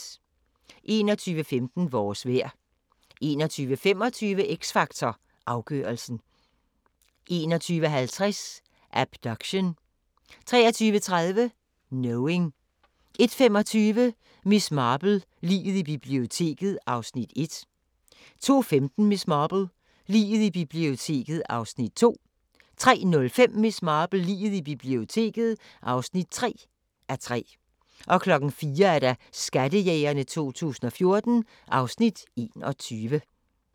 21:15: Vores vejr 21:25: X Factor Afgørelsen 21:50: Abduction 23:30: Knowing 01:25: Miss Marple: Liget i biblioteket (1:3) 02:15: Miss Marple: Liget i biblioteket (2:3) 03:05: Miss Marple: Liget i biblioteket (3:3) 04:00: Skattejægerne 2014 (Afs. 21)